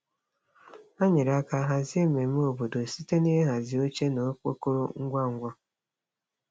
Ha nyere aka hazie mmemme obodo site n'ịhazi oche na okpokoro ngwa ngwa.